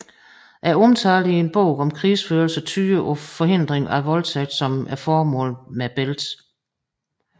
Omtalen i en bog om krigsførelse tyder på forhindring af voldtægt som formålet med bæltet